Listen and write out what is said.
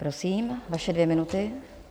Prosím, vaše dvě minuty.